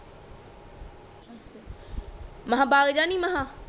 ਮਂ ਕਹਾ ਬਗਜਾ ਨੀ ਮਂ ਕਹਾ